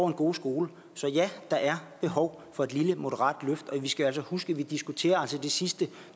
en god skole så ja der er behov for et lille moderat løft og vi skal huske at vi altså diskuterer de sidste